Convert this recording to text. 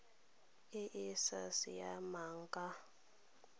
e e sa siamang ka